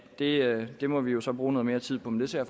det det må vi jo så bruge mere tid på men det ser